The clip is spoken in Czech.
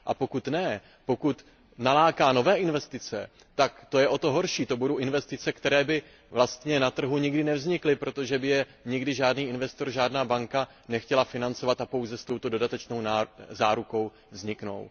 A pokud ne, pokud naláká nové investice, tak to je o to horší, to budou investice, které by vlastně na trhu nikdy nevznikly, protože by je nikdy žádný investor, žádná banka nechtěla financovat, a pouze s touto dodatečnou zárukou vzniknou.